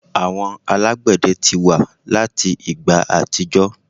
Àwọn alagbẹdẹ ti wa lati igba atijọ